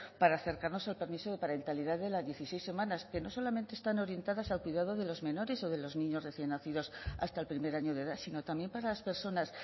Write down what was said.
para acercarnos al permiso de parentalidad de las dieciséis semanas que no solamente están orientadas al cuidado de los menores o de los niños recién nacidos hasta el primer año de edad sino también para las personas